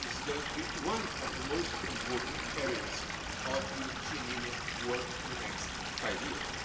It is going to be one of the most important areas of the European Union's work in the next five years.